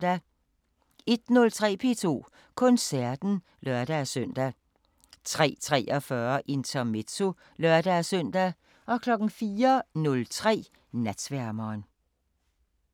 01:03: P2 Koncerten (lør-søn) 03:43: Intermezzo (lør-søn) 04:03: Natsværmeren